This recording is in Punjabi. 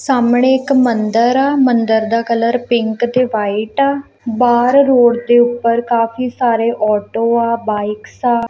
ਸਾਹਮਣੇ ਇੱਕ ਮੰਦਰ ਆ ਮੰਦਰ ਦਾ ਕਲਰ ਪਿੰਕ ਤੇ ਵ੍ਹਾਈਟ ਆ ਬਾਹਰ ਰੋਡ ਦੇ ਉਪਰ ਕਾਫੀ ਸਾਰੇ ਔਟੋ ਆ ਬਾਇਕਸ ਆ।